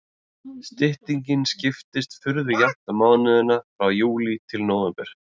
Styttingin skiptist furðu jafnt á mánuðina frá júlí til nóvember.